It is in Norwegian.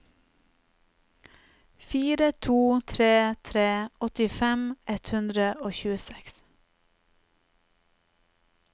fire to tre tre åttifem ett hundre og tjueseks